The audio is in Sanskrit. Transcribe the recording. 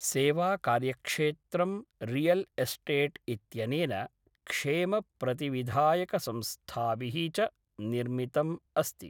सेवाकार्यक्षेत्रं रियल् एस्टेट् इत्यनेन, क्षेमप्रतिविधायकसंस्थाभिः च निर्मितम् अस्ति।